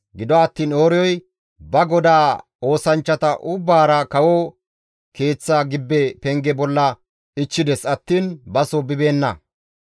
Gido attiin Ooriyoy ba godaa oosanchchata ubbaara kawo keeththa gibbe penge bolla ichchides attiin baso bibeenna.